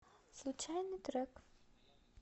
случайный трек